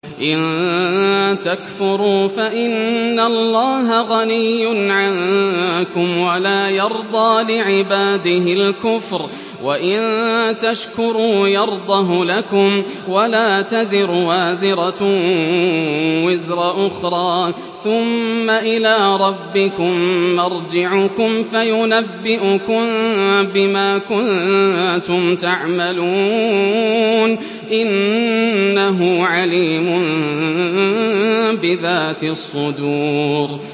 إِن تَكْفُرُوا فَإِنَّ اللَّهَ غَنِيٌّ عَنكُمْ ۖ وَلَا يَرْضَىٰ لِعِبَادِهِ الْكُفْرَ ۖ وَإِن تَشْكُرُوا يَرْضَهُ لَكُمْ ۗ وَلَا تَزِرُ وَازِرَةٌ وِزْرَ أُخْرَىٰ ۗ ثُمَّ إِلَىٰ رَبِّكُم مَّرْجِعُكُمْ فَيُنَبِّئُكُم بِمَا كُنتُمْ تَعْمَلُونَ ۚ إِنَّهُ عَلِيمٌ بِذَاتِ الصُّدُورِ